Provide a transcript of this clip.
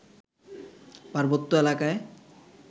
পার্বত্য এলাকায়